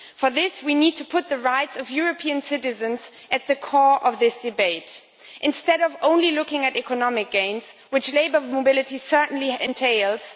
To do this, we need to put the rights of European citizens at the core of this debate instead of only looking at economic gains, which labour mobility certainly entails.